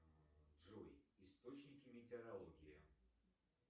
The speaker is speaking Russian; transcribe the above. джой источники метеорологии